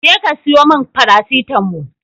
Je ka siyo mun farasitamo